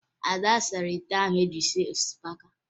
Ada sara ite ahụ eji esi osikapa